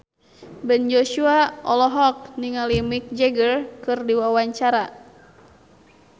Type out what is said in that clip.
Ben Joshua olohok ningali Mick Jagger keur diwawancara